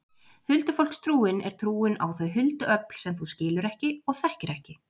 Huldufólkstrúin er trúin á þau huldu öfl sem þú skilur ekki og þekkir ekki.